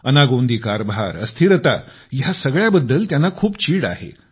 अनागोंदी कारभार अस्थिरता यासगळ्या बद्दल त्यांना खूप चीड आहे